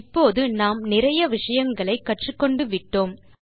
இப்போது நாம் நிறைய விஷயங்களை கற்றூக்கொண்டு விட்டோம்